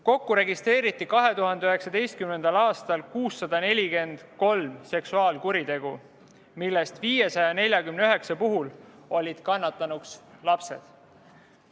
Kokku registreeriti 2019. aastal 643 seksuaalkuritegu, millest 549 puhul olid kannatanuks lapsed.